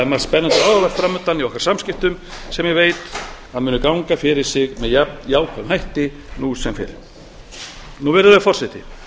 spennandi og áhugavert fram undan í okkar samskiptum sem ég veit að munu ganga fyrir sig með jafn jákvæðum hætti nú sem fyrr virðulegi forseti